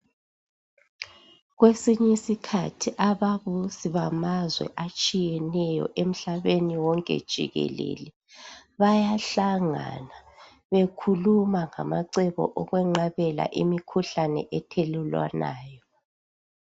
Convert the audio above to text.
Kwesinye isikhathi ababusi bamazwe atshiyeneyo Emhlabeni wonke jikelele , bayahlangana bekukhluma ngamacebo okweqabela imikhuhlane ethelelanwayo.